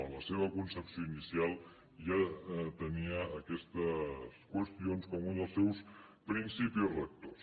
en la seva concepció inicial ja tenia aquestes qüestions com un dels seus principis rectors